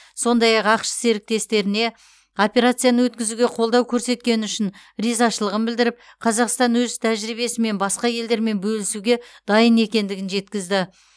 сондай ақ ақш серіктестеріне операцияны өткізуге қолдау көрсеткені үшін ризашылығын білдіріп қазақстан өз тәжірибесімен басқа елдермен бөлісуге дайын екендігін жеткізді